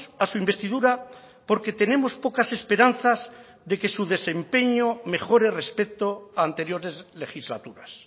a su investidura porque tenemos pocas esperanzas de que su desempeño mejore respecto a anteriores legislaturas